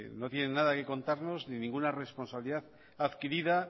no tienen nada que contarnos ni ninguna responsabilidad adquirida